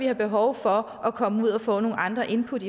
har behov for at komme ud og få nogle andre input